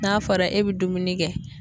N'a fɔra e bɛ dumuni kɛ